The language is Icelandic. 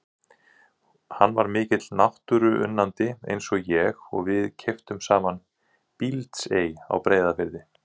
Hann var mikill náttúruunnandi eins og ég og við keyptum saman Bíldsey á Breiðafirði.